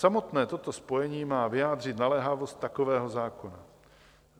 Samotné toto spojení má vyjádřit naléhavost takového zákona.